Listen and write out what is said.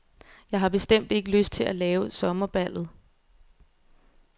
Jeg har bestemt ikke lyst til at lave sommerballet.